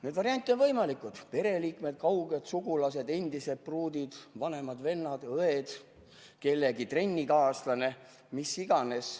Neid variante on veel võimalikke: pereliikmed, kauged sugulased, endised pruudid, vanemad, vennad-õed, kellegi trennikaaslane või mis iganes.